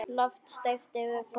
Loft steypt yfir forsal.